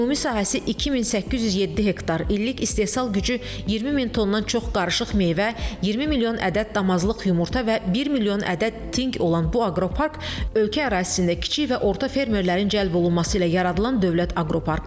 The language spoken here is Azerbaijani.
Ümumi sahəsi 2807 hektar, illik istehsal gücü 20 min tondan çox qarışıq meyvə, 20 milyon ədəd damazlıq yumurta və 1 milyon ədəd tinq olan bu aqropark ölkə ərazisində kiçik və orta fermerlərin cəlb olunması ilə yaradılan dövlət aqroparkıdır.